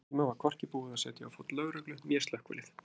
Á sama tíma var hvorki búið að setja á fót lögreglu né slökkvilið.